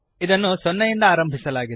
ಇದನ್ನು 0 ಯಿಂದ ಆರಂಭಿಸಲಾಗಿದೆ